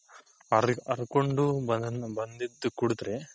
ಹರಿ ಹರ್ಕೊಂಡ್ ಬಂದ್ ಬಂದಿದ್ದು ಕುಡದ್ರೆ.